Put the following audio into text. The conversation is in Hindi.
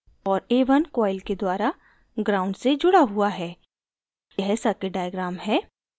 और a1 coil के द्वारा ground gnd से जुड़ा हुआ है यह circuit diagram है